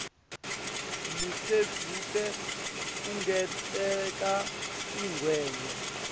losedvute kungenteka ungenwe